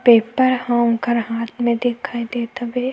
Paper ह उनकर हाथ में दिखाई देत हवे।